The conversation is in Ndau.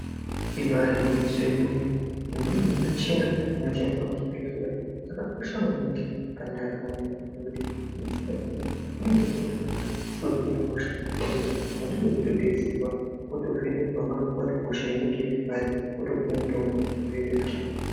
Ibaari gwinyiso yemene mene kuti imweni yemuchina inoshandiswa muzvibhehleya yakakosha maningi pandaramo yeanthu iye inodetsera kuhloya hosha ngekuti weitoda kutodetserwa wotovhenekwa wotoonekwa kuti hosha inenge iripari wotopiwa mutombo wotoita zvakanaka.